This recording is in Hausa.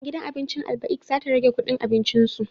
Gidan abincin Albaik za ta rage kudin abincin su